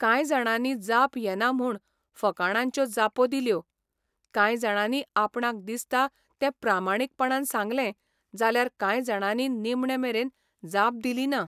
कांय जाणांनी जाप येना म्हूण फकाणांच्यो जापो दिल्यो, कांय जाणांनी आपणाक दिसता तें प्रामाणीकपणान सांगलें जाल्यार कांय जाणांनी निमणे मेरेन जाप दिलीना.